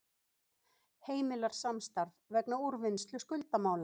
Heimilar samstarf vegna úrvinnslu skuldamála